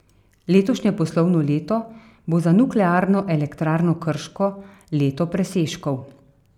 Letošnje poslovno leto bo za Nuklearno elektrarno Krško leto presežkov.